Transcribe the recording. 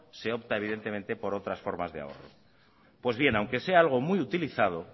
se opta evidentemente por otras formas de ahorro pues bien aunque sea algo muy utilizado